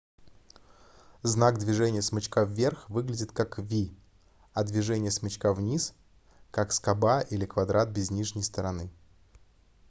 знак движения смычка вверх выглядит как v а движение смычка вниз как скоба или квадрат без нижней стороны